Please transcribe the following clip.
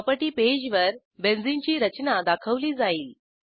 property पेजवर benzene ची रचना दाखवली जाईल